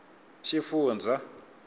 xifundzha